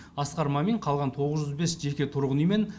асқар мамин қалған тоғыз жүз бес жеке тұрғын үй мен